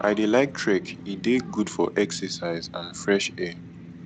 i dey like trek e dey good for exercise and fresh air